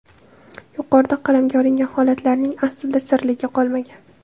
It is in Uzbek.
Yuqorida qalamga olingan holatlarning aslida sirligi qolmagan.